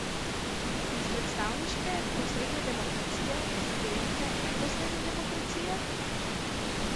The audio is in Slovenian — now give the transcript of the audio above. Iz predstavniške, posredne demokracije, in direktne, neposredne demokracije?